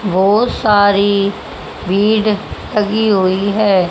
बहुत सारी भीड़ लगी हुई है।